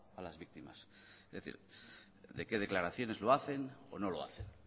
a las víctimas es decir de qué declaraciones lo hacen o no lo hacen